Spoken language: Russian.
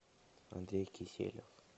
андрей киселев